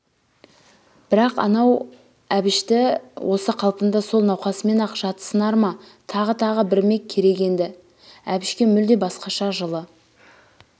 бірақанау әбішті осы қалпында сол науқасымен-ақ жатсынар-ма тағы тағы бірмек керек енді әбішке мүлде басқаша жылы